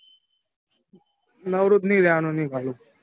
નવરો જ નઈ રેવાનું ઈની ગાલુ.